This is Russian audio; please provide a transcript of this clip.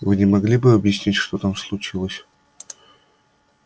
вы не могли бы объяснить что там случилось